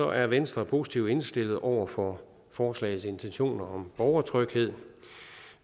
er venstre positivt indstillet over for forslagets intentioner om borgertryghed